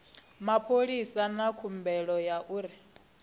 mapholisa na khumbelo ya uri